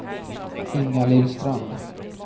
Ingalill Strand